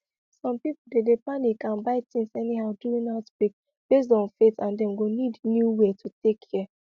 some people dey dey panic and buy things anyhow during outbreak based on faith and dem go need new way to take care